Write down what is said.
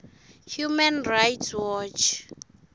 human rights watch